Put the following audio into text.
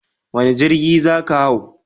Wane jirgi za ka hau?